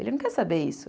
Ele não quer saber isso.